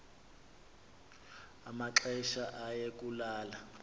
amaxesha aye kulala